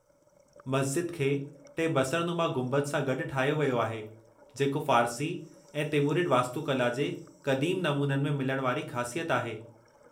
मस्जिद खे टे बसरनुमा गुंबद सां गॾु ठाहियो वियो आहे, जेको फ़ारसी ऐं तिमुरिड वास्तुकला जे क़दीम नमूननि में मिलण वारी ख़ासियत आहे।